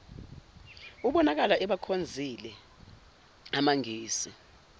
ubonakala ebakhonzile amangisi